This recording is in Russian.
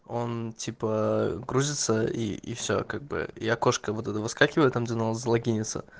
он типа грузится и и все как бы и окошка вот это выскакивает там где надо залогинится